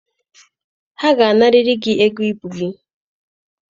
Ha ga-anarịrị gị ego ibu gị.